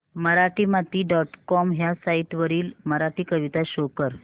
Marathimati dot com ह्या site वरील मराठी कविता शो कर